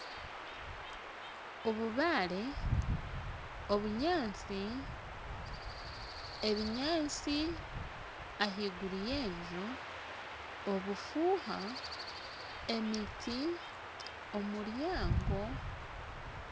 Obubaare ,obunyatsi ebinyatsi ahaiguru yenju obufuha emiti omuryango